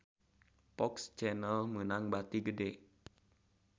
FOX Channel meunang bati gede